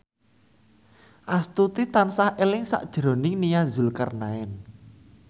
Astuti tansah eling sakjroning Nia Zulkarnaen